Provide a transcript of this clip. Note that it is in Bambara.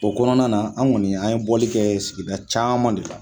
O kɔnɔna na an kɔni an ye bɔli kɛ sigida caman de la